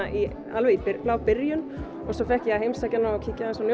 alveg í blábyrjun og svo fékk ég að heimsækja hana og kíkja aðeins á